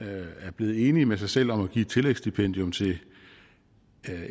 er blevet enig med sig selv om at give et tillægsstipendium til